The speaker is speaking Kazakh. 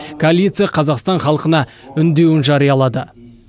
коалиция қазақстан халқына үндеуін жариялады